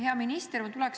Hea minister!